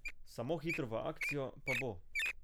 Samo hitro v akcijo, pa bo.